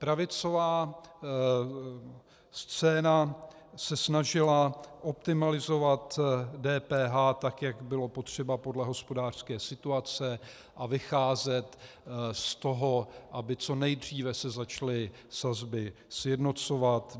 Pravicová scéna se snažila optimalizovat DPH tak, jak bylo potřeba podle hospodářské situace, a vycházet z toho, aby co nejdříve se začaly sazby sjednocovat.